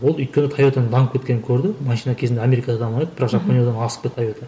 ол өйткені тойотаның дамып кеткенін көрді машина кезінде америкада дамыған еді бірақ жапонияда асып кетті тойота